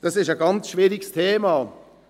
Dies ist ein ganz schwieriges Thema.